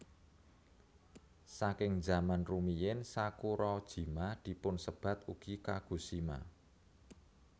Saking zaman rumiyin Sakurajima dipunsebat ugi Kagoshima